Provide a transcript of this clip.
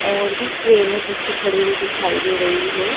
और भी क्रेने पीछे खड़ी हुई दिखाई दे रही है।